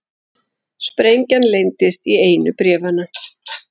Sprengja leyndist í einu bréfanna